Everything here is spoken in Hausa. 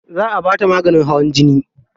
Za a bata maganin hawan jini.